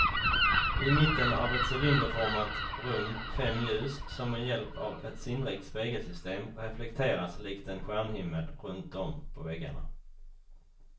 I mitten av ett cylinderformat rum fem ljus som med hjälp av ett sinnrikt spegelsystem reflekteras likt en stjärnhimmel runtom på väggarna.